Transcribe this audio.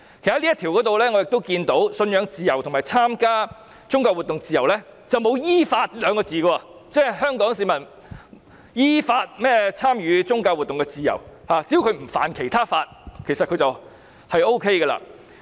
"其實，我從這項條文中看到，"信仰自由"和"參加宗教活動的自由"之前並沒有"依法"這兩個字，即是香港市民有參與宗教活動的自由，只要不觸犯其他法例便可以。